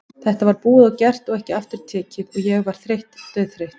Þetta var búið og gert og ekki aftur tekið og ég var þreytt, dauðþreytt.